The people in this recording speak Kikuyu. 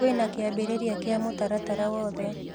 Kwĩna kĩambĩrĩria kĩa mũtaratara wothe